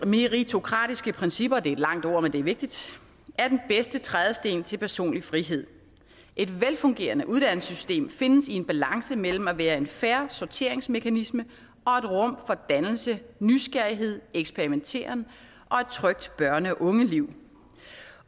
meritokratiske principper det er et langt ord men det er vigtigt er den bedste trædesten til personlig frihed et velfungerende uddannelsessystem findes i en balance mellem at være en fair sorteringsmekanisme og et rum for dannelse nysgerrighed eksperimenteren og et trygt børne og ungeliv